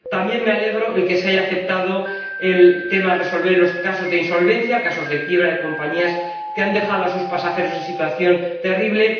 También me alegra que se haya aceptado el tema relativo a la resolución de los casos de insolvencia, casos de quiebra de compañías que han dejado a sus pasajeros en una situación terrible